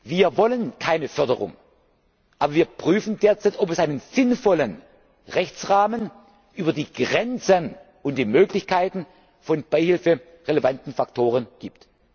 Wir wollen keine Förderung, aber wir prüfen derzeit, ob es einen sinnvollen Rechtsrahmen über die Grenzen und die Möglichkeiten von beihilferelevanten Faktoren